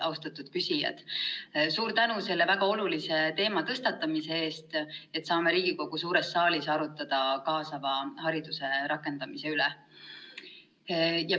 Austatud küsijad, suur tänu selle väga olulise teema tõstatamise eest, et saame Riigikogu suures saalis arutada kaasava hariduse rakendamise üle!